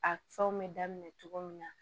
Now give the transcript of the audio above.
A fɛnw bɛ daminɛ cogo min na